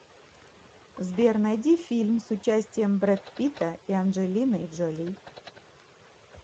сбер найди фильм с участием брэд питта и анджелиной джоли